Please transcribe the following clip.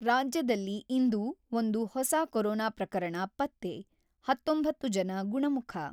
ರಾಜ್ಯದಲ್ಲಿ ಇಂದು ಒಂದು ಹೊಸ ಕೊರೊನಾ ಪ್ರಕರಣ ಪತ್ತೆ ; ಹತೊಂಬತ್ತು ಜನ ಗುಣಮುಖ.